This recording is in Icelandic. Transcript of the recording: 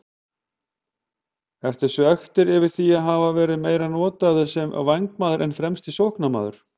Ertu svekktur yfir því að hafa verið meira notaður sem vængmaður en fremsti sóknarmaður?